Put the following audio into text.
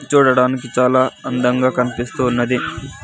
చూడటానికి చాల అందంగా కనిపిసస్తూ ఉన్నది.